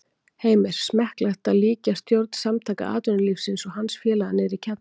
Heimir: Smekklegt að líkja stjórn Samtaka atvinnulífsins og hans félaga niðri í kjallara?